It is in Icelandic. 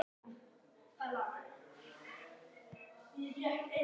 Klukkan var farin að ganga sjö.